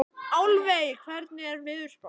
Álfey, hvernig er veðurspáin?